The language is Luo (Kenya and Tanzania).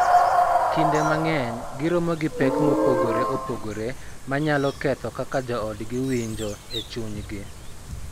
Kinde mang�eny, giromo gi pek mopogore opogore ma nyalo ketho kaka joodgi winjo e chunygi.